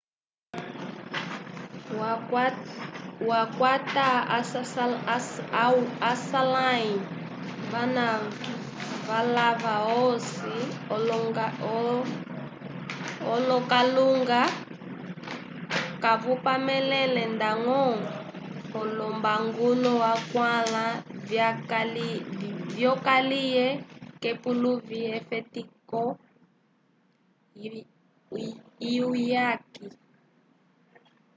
wakwata aswalãli vana valava osi l'okalunga kavapamelele ndañgo olombaluku akwãla vyokaliye k'epuluvi lyefetiko lyuyaki